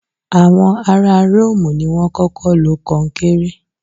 Àwọn ará róòmù ni wọ́n kọ́kọ́ lo kọnkéré?